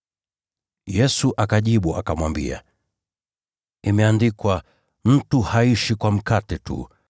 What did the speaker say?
Yesu akajibu akamwambia, “Imeandikwa: ‘Mtu haishi kwa mkate tu.’ ”